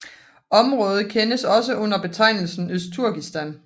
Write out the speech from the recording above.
Området kendes også under betegnelsen Østturkistan